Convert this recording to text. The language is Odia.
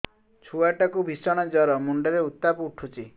ଛୁଆ ଟା କୁ ଭିଷଣ ଜର ମୁଣ୍ଡ ରେ ଉତ୍ତାପ ଉଠୁଛି